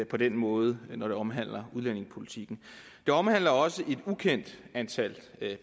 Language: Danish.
på den måde når det omhandler udlændingepolitikken det omhandler også et ukendt antal